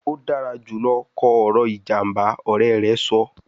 O dara julọ kọ ọrọ ijamba, ọrẹ rẹ sọ